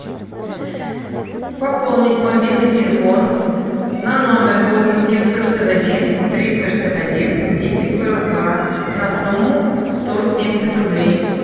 пополнить мобильный телефон на номер восемь девятьсот шестьдесят один триста шестьдесят один десять сорок два на сумму сто семьдесят рублей